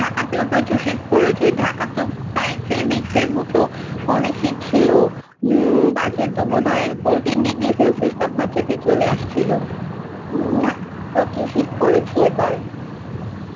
ঢাকাতেও প্রচুর শীত পড়েছে ঢাকা তো প্রায় three weeks এর মতো অনেক শীত সিলো উম মাঝে তো বোধহয় forteen degree celsious তাপমাত্রায় চলে আসছিলো ধকে প্রচুর শীত পরেছে এবার